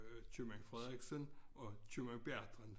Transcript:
Øh købmand Frederiksen og købmand Bertram